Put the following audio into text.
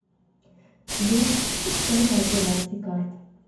сбер история операций карт